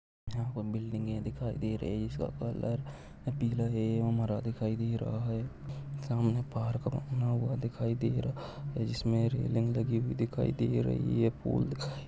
यहा पर बिल्डिंगे दिखाई दे रहे है इसका कलर पीला है दिखाई दे रहा है सामने पार्क बना हुआ दिखाई दे रहा है जिसमे रेलिंग लगी हुई दिखाई दे रही है पुल --